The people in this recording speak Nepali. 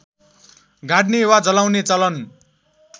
गाड्ने वा जलाउने चलन